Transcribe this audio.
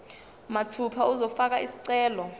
mathupha uzofaka isicelo